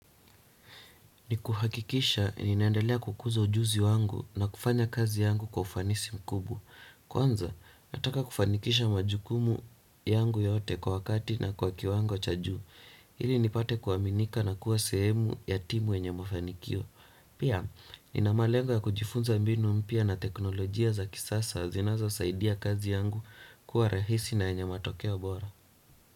Ni kuhakikisha ninaendelea kukuza ujuzi wangu na kufanya kazi yangu kwa ufanisi mkubwa. Kwanza nataka kufanikisha majukumu yangu yote kwa wakati na kwa kiwango cha juu ili nipate kuaminika na kuwa sehemu ya timu enye mafanikio. Pia nina malengo ya kujifunza mbinu mpya na teknolojia za kisasa zinazosaidia kazi yangu kuwa rahisi na yenye matokeo bora.